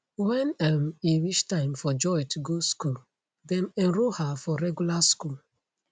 wen um e reach time for joy to go school dem enroll her for regular school